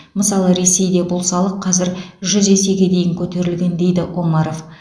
мысалы ресейде бұл салық қазір жүз есеге дейін көтерілген дейді омаров